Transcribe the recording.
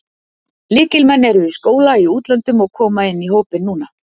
Lykilmenn eru í skóla í útlöndum og koma inn í hópinn núna.